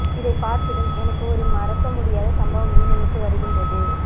இதை பார்த்ததும் எனக்கு ஒரு மறக்க முடியாத சம்பவம் நினைவுக்கு வருகின்றது